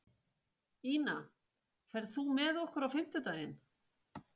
Ina, ferð þú með okkur á fimmtudaginn?